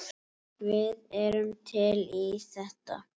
Við erum til í þetta.